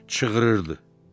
Çığırırdı.